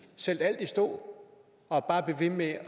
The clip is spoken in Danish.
sætte alt i stå og bare blive ved med